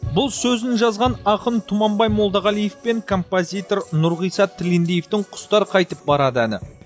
бұл сөзін жазған ақын тұманбай молдағалиев пен композитор нұрғиса тілендиевтің құстар қайтып барады әні